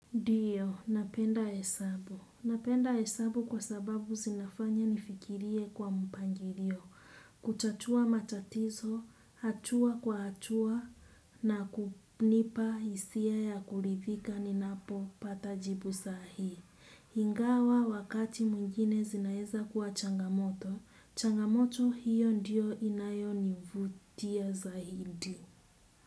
Diyo, napenda hesabu. Napenda hesabu kwa sababu zinafanya nifikirie kwa mpangirio, kutatua matatizo, hatua kwa hatua, na kunipa isia ya kulithika ninapopata jibu sahi. Hingawa wakati mwingine zinaeza kuwa changamoto, changamoto hiyo ndiyo inayonivutia zahindi.